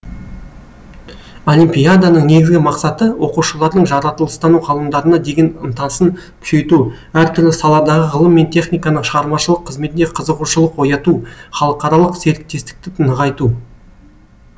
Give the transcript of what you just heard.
олимпиаданың негізгі мақсаты оқушылардың жаратылыстану ғылымдарына деген ынтасын күшейту әртүрлі саладағы ғылым мен техниканың шығармашылық қызметіне қызығушылық ояту халықаралық серіктестікті нығайту